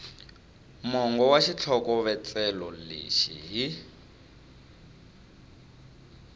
mongo wa xitlhokovetselo lexi hi